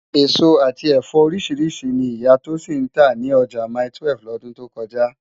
Esó ati ẹfọ óriṣirṣi ni Iyà Tosin ntá ni òjá máitúèf lòdún tó kòjá